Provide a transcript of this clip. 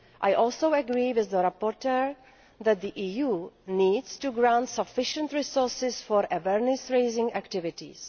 I also agree with the rapporteur that the EU needs to grant sufficient resources for awareness raising activities.